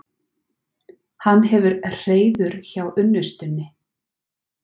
Hann hefur hreiður hjá unnustunni.